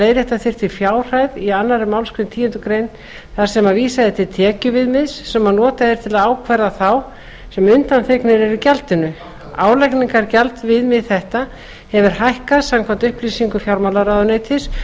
leiðrétta þyrfti fjárhæð í annarri málsgrein tíundu greinar þar sem vísað er til tekjuviðmiðs sem notað er til að ákvarða þá sem undanþegnir eru gjaldinu álagningargjaldaviðmið þetta hefur hækkað samkvæmt upplýsingum fjármálaráðuneytis